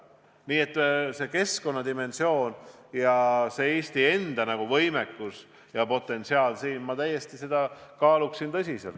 Nii et arvestades keskkonna dimensiooni ja Eesti enda võimekust, siis ma kaaluksin seda võimalust täiesti tõsiselt.